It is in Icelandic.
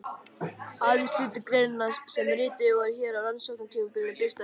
Aðeins hluti greinanna sem ritaðar voru á rannsóknartímabilinu birtast hér.